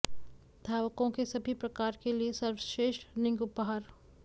धावकों के सभी प्रकार के लिए सर्वश्रेष्ठ रनिंग उपहार